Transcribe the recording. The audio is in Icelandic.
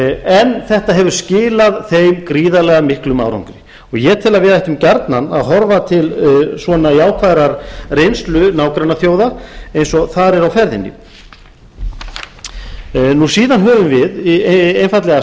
en þetta hefur skilað þeim gríðarlega miklum árangri og ég tel að við ættum gjarnan að horfa til svona jákvæðrar reynslu nágrannaþjóða eins og þar er á ferðinni síðan höfum við einfaldlega